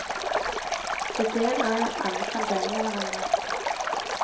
Ideen er jo at alle skal dele med hverandre.